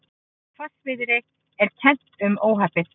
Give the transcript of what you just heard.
Hvassviðri er kennt um óhappið